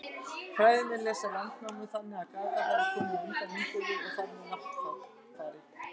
Fræðimenn lesa Landnámu þannig að Garðar hafi komið á undan Ingólfi og þar með Náttfari.